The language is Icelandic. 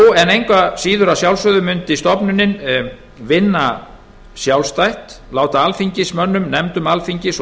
og fjárstjórnarverkefni engu að síður mundi stofnunin vinna sjálfstætt og láta alþingismönnum nefndum alþingis og